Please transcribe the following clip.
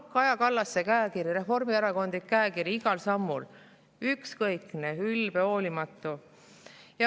Kaja Kallase käekiri, reformierakondlik käekiri, igal sammul ükskõikne, ülbe, hoolimatu.